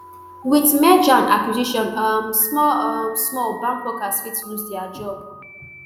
wit merger and acquisition um small um small bank workers fit lose dia job